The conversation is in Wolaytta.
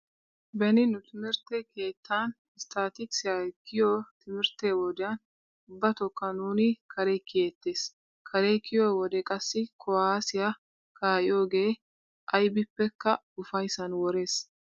Beni nu timirtte keettan isttaatikisiya giyo timirtte wodiyan ubbatookka nuuni kare kiyeettees. Kare kiyo wode qassi kuwaassiya kaai'yogee aybippekka ufayssan worees.